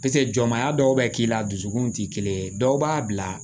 jɔmya dɔw bɛ k'i la dusukun tɛ kelen ye dɔw b'a bila